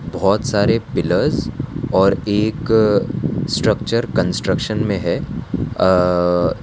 बहोत सारे पिलर्स और एक स्ट्रक्चर कंस्ट्रक्शन में है अं --